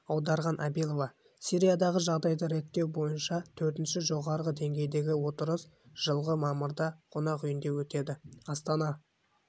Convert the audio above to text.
аударған абилова сириядағы жағдайды реттеу бойынша төртінші жоғарғы деңгейдегі отырыс жылғы мамырда қонақ үйінде өтеді астана